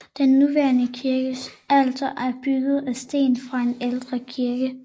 Den nuværende kirkes alter er bygget af sten fra en ældre kirke